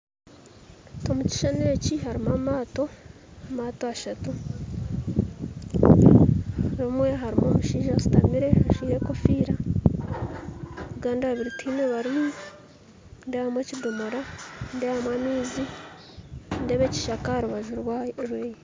Omu kishuushani eki harimu amaato, amaato ashatu rimwe harimu omushaija ashuutamire ajwire ekofiira agandi abiri tihaine barimu nindeebamu ekidoomora nindeebamu amaizi nindeeba ekishaka aharubaju rweye